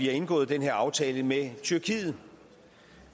har indgået den her aftale med tyrkiet